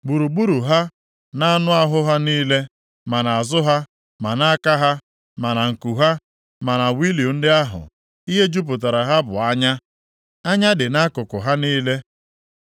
Gburugburu ha, nʼanụ ahụ ha niile, ma nʼazụ ha, ma nʼaka ha, ma na nku ha, ma na wịịlu ndị ahụ, ihe jupụtara ha bụ anya. Anya dị nʼakụkụ ha niile.